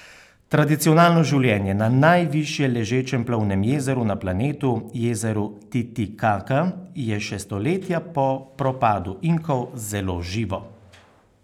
Tradicionalno življenje na najviše ležečem plovnem jezeru na planetu, jezeru Titikaka, je še stoletja po propadu Inkov zelo živo.